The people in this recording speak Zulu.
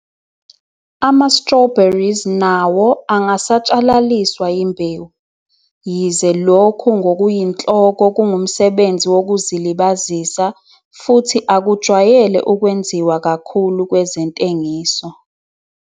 Ama-Strawberries nawo angasatshalaliswa yimbewu, yize lokhu ngokuyinhloko kungumsebenzi wokuzilibazisa, futhi akujwayele ukwenziwa kakhulu kwezentengiso.